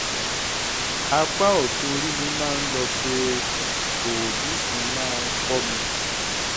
apá ọ̀tún orí mi máa ń lọ fee òòyì sì máa ń kọ́ mi